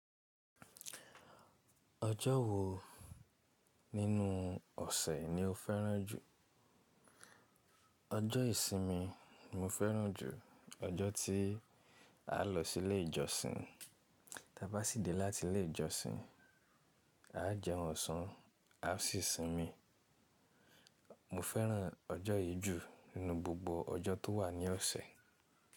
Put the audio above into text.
Ọjọ́ wo nínú ọ̀sẹ̀ ni o fẹ́ràn jù? Ọjọ́ ìsinmi ni mo fẹ́ràn jù. Ọjọ́ tí a lọ sí ilé ìjọsìn, ta bá sì dé láti ilé ìjọsìn a jẹ ọ̀sán, a sì sinmi. Mo fẹ́ràn ọjọ́ yìí jù nínú gbogbo ọjọ́ tó wà ní ọ̀sẹ̀.